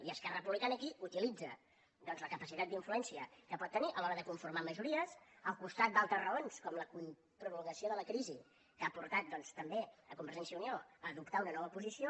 i esquerra republicana aquí utilitza doncs la capacitat d’influència que pot tenir a l’hora de conformar majories al costat d’altres raons com la prolongació de la crisi que ha portat doncs també convergència i unió a adoptar una nova posició